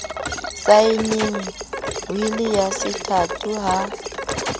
saenneng wili ya sethato ha